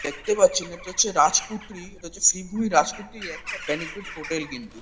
দেখতে পাচ্ছেন এটা হচ্ছে রাজকুটরী। এটা হচ্ছে ফিগুই রাজকুটরীর একটা বেনিকুইট হোটেল কিন্তু।